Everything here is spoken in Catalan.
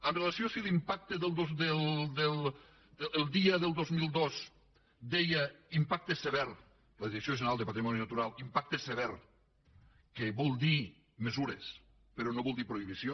amb relació a si l’impacte de la dia del dos mil dos deia impacte sever la direcció general de patrimoni natural impacte sever que vol dir mesures però no vol dir prohibició